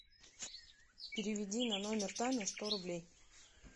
переведи на номер таня сто рублей